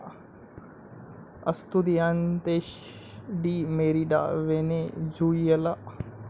अस्तुदियांतेश de Merida, Venezuela